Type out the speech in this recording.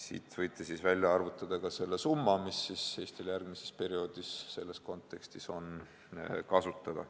Selle põhjal võite välja arvutada ka summa, mis Eestil on järgmisel perioodil selles kontekstis kasutada.